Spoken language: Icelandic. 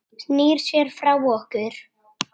Snýr sér frá okkur.